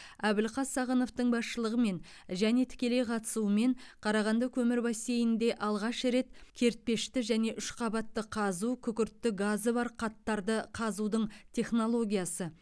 әбілқас сағыновтың басшылығымен және тікелей қатысуымен қарағанды көмір бассейнінде алғаш рет кертпешті және үшқабатты қазу күкіртті газы бар қаттарды қазудың технологиясы